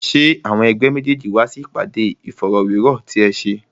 Ṣé àwọn ẹ̀gbẹ́ méjèèjì wá sí ìpàdé Ìfọ̀rọ̀wérọ̀ ti ẹ ṣe?